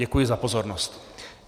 Děkuji za pozornost.